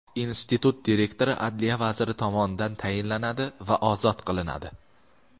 Institut direktori adliya vaziri tomonidan tayinlanadi va ozod qilinadi.